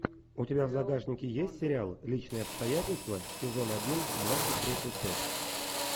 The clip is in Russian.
у тебя в загашнике есть сериал личные обстоятельства сезон один двадцать третья часть